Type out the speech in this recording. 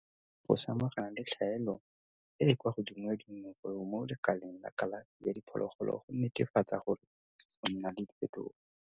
bo ineela go samagana le tlhaelo e e kwa godimo ya dinonofo mo lekaleng la kalafi ya diphologolo go netefatsa gore go nna le diphetogo.